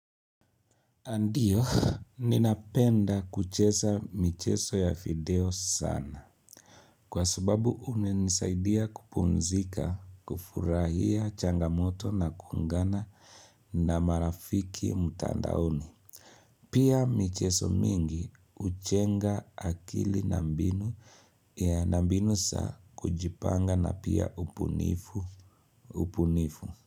Ndiyo, ninapenda kucheza michezo ya video sana. Kwa sababu unanisaidia kupumzika, kufurahia changamoto na kuungana na marafiki mtandaoni. Pia michezo mingi hujenga akili na mbinu ya na mbinu za kujipanga na pia ubunifu, ubunifu.